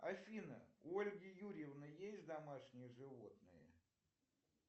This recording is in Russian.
афина у ольги юрьевны есть домашние животные